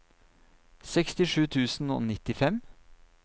sekstisju tusen og nittifem